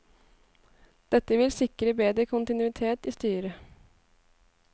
Dette vil sikre bedre kontinuitet i styret.